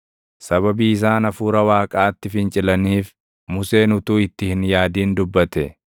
sababii isaan Hafuura Waaqaatti fincilaniif Museen utuu itti hin yaadin dubbate.